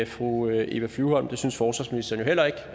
fru eva flyvholm det synes forsvarsministeren jo heller ikke